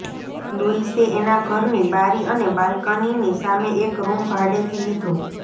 લુઇસે એના ઘરની બારી અને બાલ્કનીની સામે એક રૂમ ભાડેથી લીધો